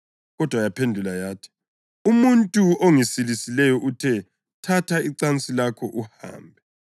Kodwa yaphendula yathi, “Umuntu ongisilisileyo uthe, ‘Thatha icansi lakho uhambe.’ ”